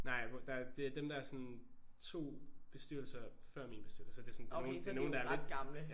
Nej det er dem der er sådan 2 bestyrelser før min bestyrelse altså det sådan det er nogen det er nogen der er lidt